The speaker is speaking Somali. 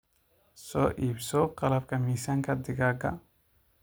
Soo iibso qalabka miisaanka digaaga.